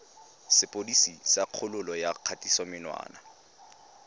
sepodisi sa kgololo ya kgatisomenwa